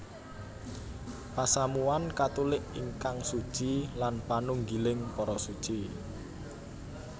Pasamuwan Katulik ingkang suci lan panunggiling para Suci